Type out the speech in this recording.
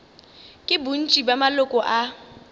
ke bontši bja maloko a